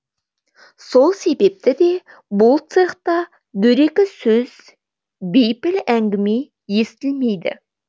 сол себепті де бұл цехта дөрекі сөз бейпіл әңгіме естілмейді